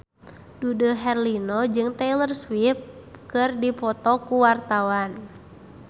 Dude Herlino jeung Taylor Swift keur dipoto ku wartawan